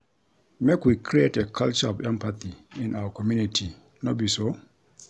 Make we create a culture of empathy in our community, no be so?